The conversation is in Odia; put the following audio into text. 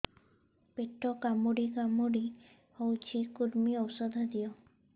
ପେଟ କାମୁଡି କାମୁଡି ହଉଚି କୂର୍ମୀ ଔଷଧ ଦିଅ